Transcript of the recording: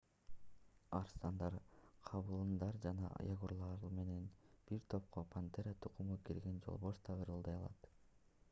арстандар кабыландар жана ягуарлар менен бир топко пантера тукуму кирген жолборс да ырылдай алат